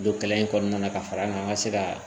Don kalan in kɔnɔna na ka fara an ka se ka